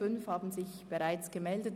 fünf haben sich bereits gemeldet.